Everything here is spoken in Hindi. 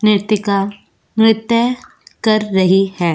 नृत्यका नृत्य कर रही है।